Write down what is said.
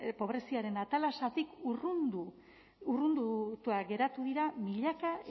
pobreziaren atalasetik urrunduta geratu dira milaka